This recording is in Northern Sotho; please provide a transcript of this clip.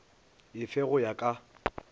e fe go ya ka